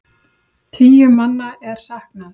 Tíu manna er saknað.